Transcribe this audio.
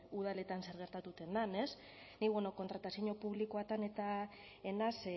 udaletan zer gertatzen den ez nik beno kontratazio publikoetan eta ez naiz